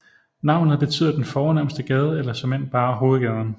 Navnet betyder den fornemste gade eller såmænd bare hovedgaden